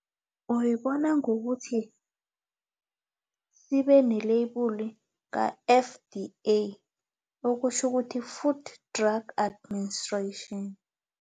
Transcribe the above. Uyibona ngokuthi sibene-label ka-F_D_A okutjho ukuthi-food drug administration.